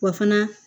Wa fana